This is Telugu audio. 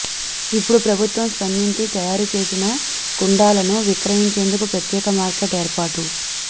ఇప్పుడు ప్రభుత్వం స్పందించి తయారు చేసిన కుండాలను విక్రయించేందుకు ప్రత్యేక మార్కెట్ ఏర్పాటు